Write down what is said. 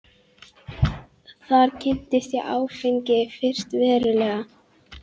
Þar kynntist ég áfengi fyrst verulega.